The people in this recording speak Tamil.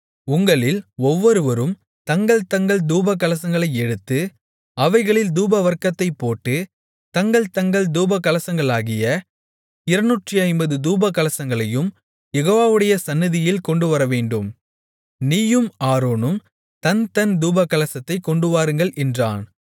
உங்களில் ஒவ்வொருவரும் தங்கள் தங்கள் தூபகலசங்களை எடுத்து அவைகளில் தூபவர்க்கத்தைப் போட்டு தங்கள் தங்கள் தூபகலசங்களாகிய 250 தூபகலசங்களையும் யெகோவாவுடைய சந்நிதியில் கொண்டுவரவேண்டும் நீயும் ஆரோனும் தன் தன் தூபகலசத்தைக் கொண்டுவாருங்கள் என்றான்